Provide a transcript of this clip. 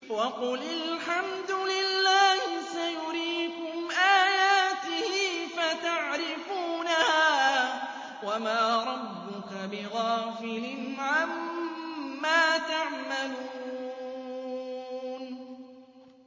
وَقُلِ الْحَمْدُ لِلَّهِ سَيُرِيكُمْ آيَاتِهِ فَتَعْرِفُونَهَا ۚ وَمَا رَبُّكَ بِغَافِلٍ عَمَّا تَعْمَلُونَ